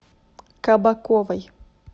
кабаковой